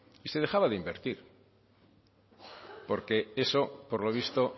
y se dejaba de invertir porque eso por lo visto